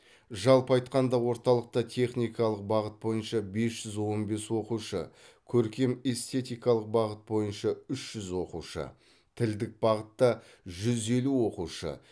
жалпы айтқанда орталықта техникалық бағыт бойынша бес жүз он бес оқушы көркем эстетикалық бағыт бойынша үш жүз оқушы тілдік бағытта жүз елу оқушы